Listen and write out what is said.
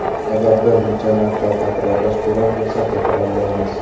Agar bir necha marta takrorlash kerak bo‘lsa, takrorlaymiz.